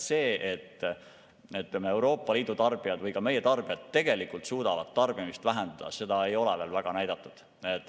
Seda, et Euroopa Liidu tarbijad või meie tarbijad tegelikult suudavad tarbimist vähendada, ei ole veel väga näidatud.